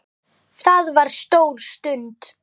Það var stór stund.